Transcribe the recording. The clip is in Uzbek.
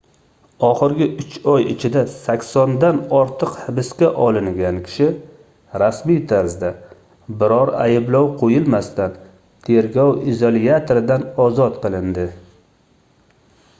oxirgi 3 oy ichida 80 dan ortiq hibsga olingan kishi rasmiy tarzda biror ayblov qoʻyilmasdan tergov izolyatoridan ozod qilindi